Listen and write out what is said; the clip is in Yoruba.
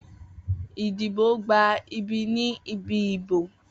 Idibo gba ibi ni ibi ibo.